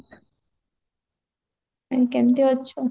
କେମତି ଅଛୁ